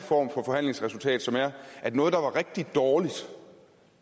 forhandlingsresultat at noget der var rigtig dårligt